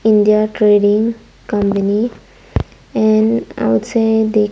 india trading company and outside the --